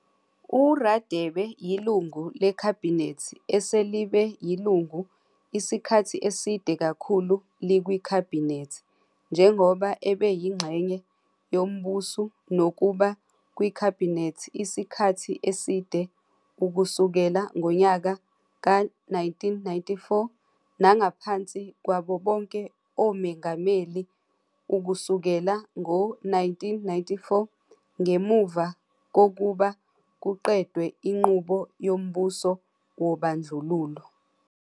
U-Radebe yiLungu leKhabhinethi eselibe yilungu isikhathi eside kakhulu likwiKhabhinethi, njengoba ebe yingxenye yombusu nokuba kwikhabhinethi isikhathi eside ukusukela ngonyaka ka-1994 nangaphansi kwabo bonke oMengameli ukusukela ngo-1994 ngemuva kokuba kuqedwe inqubo yombuso wobandlululo.